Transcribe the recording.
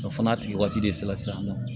O fana tigi waati de sera sisan nɔ